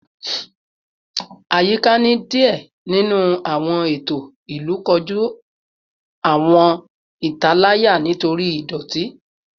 Ayika ni diẹ ninu awọn eto ilu koju awọn italaya nitori idoti